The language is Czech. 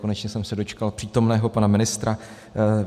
Konečně jsem se dočkal přítomného pana ministra.